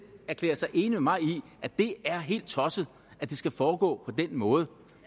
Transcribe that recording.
erklære sig enig med mig i at det er helt tosset at det skal foregå på den måde